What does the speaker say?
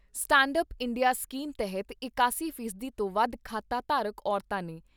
Stand up India scheme ਤਹਿਤ ਇਕਾਸੀ ਫੀਸਦੀ ਤੋਂ ਵੱਧ ਖਾਤਾ ਧਾਰਕ ਔਰਤਾਂ ਨੇ।